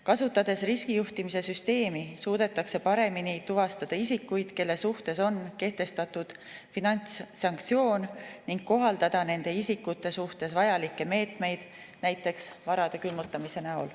Kasutades riskijuhtimise süsteemi, suudetakse paremini tuvastada isikuid, kelle suhtes on kehtestatud finantssanktsioon, ning kohaldada nende isikute suhtes vajalikke meetmeid, näiteks varade külmutamist.